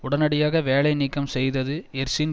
உடனடியாக வேலை நீக்கம் செய்தது எர்சின்